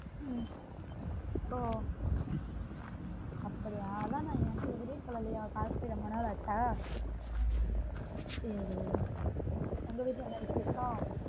ஹம் ஒ அப்படியா அதான் என் கிட்ட ஒன்னுமே சொல்லலயா call பண்ணி ரொம்ப நாள் ஆச்சா சேரி உங்க வீட்ல என்ன விசேஷம்